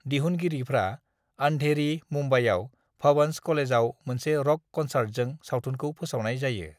"दिहुनगिरिफ्रा अन्धेरी, मुंबईआव भवंस कलेजआव मोनसे र'क क'न्सार्टजों सावथुनखौ फोसावनाय जायो।"